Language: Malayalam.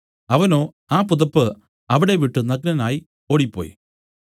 അവനോ ആ പുതപ്പ് അവിടെ വിട്ടു നഗ്നനായി ഓടിപ്പോയി